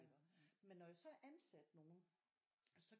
Iggå men når jeg så ansatte nogen så